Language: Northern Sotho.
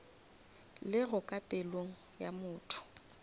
lego ka pelong ya motho